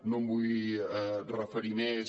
no m’hi vull referir més